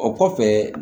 O kɔfɛ